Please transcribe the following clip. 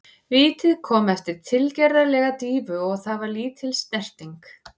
Vítið kom eftir tilgerðarlega dýfu og það var lítil snerting.